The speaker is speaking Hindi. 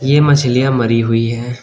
ये मछलियां मरी हुई है।